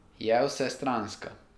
Je vsestranska.